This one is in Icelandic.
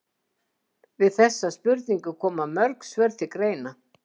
Við þessari spurningu koma mörg svör til greina.